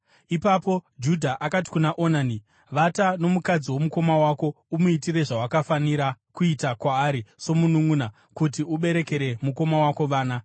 Ipapo Judha akati kuna Onani, “Vata nomukadzi womukoma wako uye umuitire zvawakafanira kuita kwaari somununʼuna, kuti uberekere mukoma wako vana.”